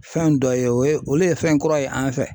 Fɛn dɔ ye o ye olu ye fɛn kura ye an fɛ.